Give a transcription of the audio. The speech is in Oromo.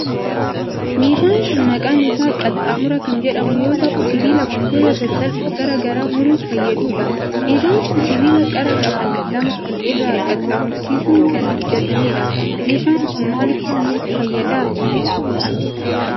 Meeshaan kun ,maqaan isaa qaxxaamura kan jedhamu yoo ta'u, sibiila wantoota sasalphoo garaa garaa muruuf fayyaduu dha. Meeshaan kun, sibiila qara qaban lama wal irra qaxxaamursiisun kan hojjatamee dha. Meeshaan kun, maal faa muruuf fayyada?